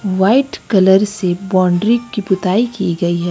White colour से boundary की पुताई की गई है।